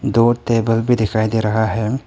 दो टेबल भी दिखाई दे रहा है।